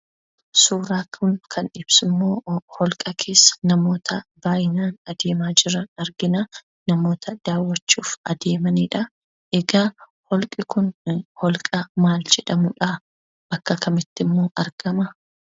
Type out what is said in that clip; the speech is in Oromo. Suuraan kun kan ibsummoo holqa keessa namoota hedduminaan adeemaa jiran argina daawwachuuf adeemanidha. Egaa holqi kun holqa maal jedhamudha? Bakka kamittimmoo argama?